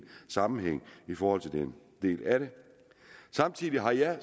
sammenhæng i forhold til den del af det samtidig har jeg